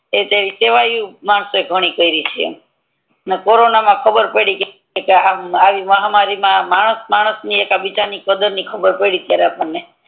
એટલે સેવ ઈ માણસો ઈ ઘણી કરી છે કોરોના મા ખબર પડી કે આ આવી માહામારી મા માણસ માણસ એકબીજા ની ખબર પેડી તીરે આપડને